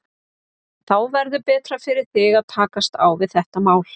Þá verður betra fyrir þig að takast á við þetta mál.